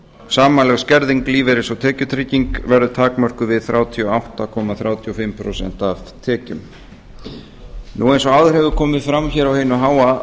samanlögð skerðing lífeyris og tekjutryggingar verður takmörkuð við þrjátíu og átta komma þrjátíu og fimm prósent af tekjum eins og áður hefur komið fram hér á hinu háa